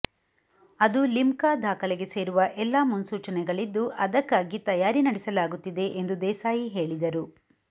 ಅದು ಲಿಮ್ಕಾ ದಾಖಲೆಗೆ ಸೇರುವ ಎಲ್ಲ ಮುನ್ಸೂಚಣೆಗಳಿದ್ದು ಅದಕ್ಕಾಗಿ ತಯಾರಿ ನಡೆಸಲಾಗುತ್ತಿದೆ ಎಂದು ದೇಸಾಯಿ ಹೇಳಿದರು